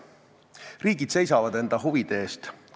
Riigid seisavad enda huvide eest.